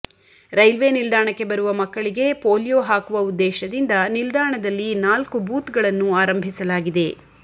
railway ನಿಲ್ದಾಣಕ್ಕೆ ಬರುವ ಮಕ್ಕಳಿಗೆ ಪೋಲಿಯೊ ಹಾಕುವ ಉದ್ದೇಶದಿಂದ ನಿಲ್ದಾಣದಲ್ಲಿ ನಾಲ್ಕು ಬೂತ್ಗಳನ್ನು ಆರಂಭಿಸಲಾಗಿದೆ